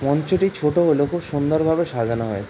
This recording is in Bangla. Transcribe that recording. মঞ্চটি ছোট হলেও খুব সুন্দর ভাবে সাজানো হয়ে--